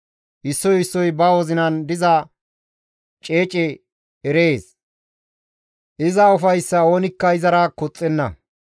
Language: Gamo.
Issoy issoy ba wozinan diza ceece erees; iza ufayssaa oonikka izara koxxenna.